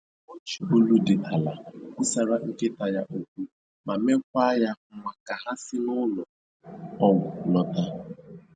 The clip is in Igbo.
O ji olu dị ala kwusaraa nkịta ya okwu ma mekwa ya nwa ka ha si n'ụlọ ọgwụ lọta